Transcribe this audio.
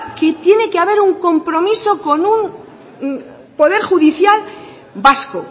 que tiene que haber un compromiso con un poder judicial vasco